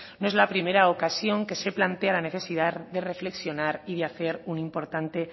no es la primera ocasión que se plantea la necesidad de reflexionar y de hacer un importante